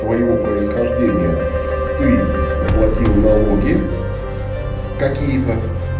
твоего происхождения ты уплатил налоги какие-то